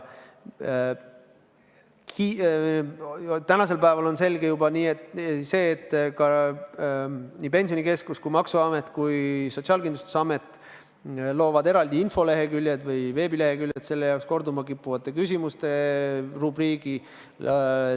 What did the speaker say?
Tänasel päeval on juba selge, et nii Pensionikeskus kui ka maksuamet ja Sotsiaalkindlustusamet loovad eraldi veebileheküljed selle jaoks, kuhu tuleb ka korduma kippuvate küsimuste rubriik.